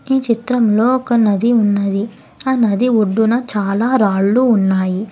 ఈ చిత్రంలో ఒక నది ఉన్నది ఆ నది ఒడ్డున చాలా రాళ్లు ఉన్నాయి.